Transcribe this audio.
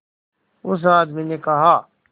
उस आदमी ने कहा